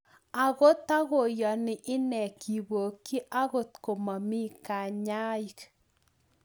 Ago takoyanii inee kipokyii angot komamii kanyaik